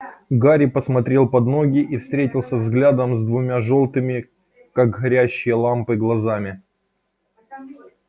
гарри посмотрел под ноги и встретился взглядом с двумя жёлтыми как горящие лампы глазами